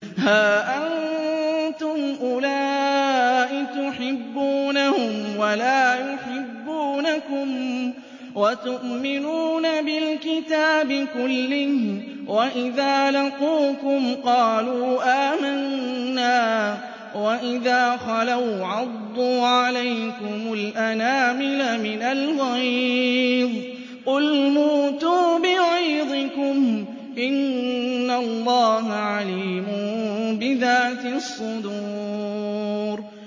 هَا أَنتُمْ أُولَاءِ تُحِبُّونَهُمْ وَلَا يُحِبُّونَكُمْ وَتُؤْمِنُونَ بِالْكِتَابِ كُلِّهِ وَإِذَا لَقُوكُمْ قَالُوا آمَنَّا وَإِذَا خَلَوْا عَضُّوا عَلَيْكُمُ الْأَنَامِلَ مِنَ الْغَيْظِ ۚ قُلْ مُوتُوا بِغَيْظِكُمْ ۗ إِنَّ اللَّهَ عَلِيمٌ بِذَاتِ الصُّدُورِ